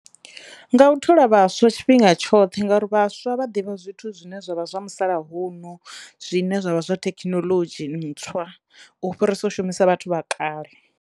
Nga u thola vhaswa tshifhinga tshoṱhe ngauri vhaswa vha ḓivha zwithu zwine zwavha zwa musalauno zwine zwavha zwa thekhinoḽodzhi ntswa u fhirisa u shumisa vhathu vha kale.